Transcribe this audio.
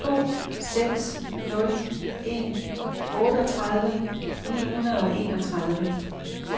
to seks nul en otteogtredive ni hundrede og enogtredive